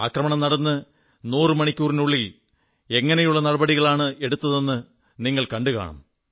ആക്രമണം നടന്ന് 100 മണിക്കൂറുകൾക്കുള്ളിൽ എങ്ങനെയുള്ള നടപടികളാണ് എടുത്തതെന്ന് നിങ്ങൾ കണ്ടുകാണും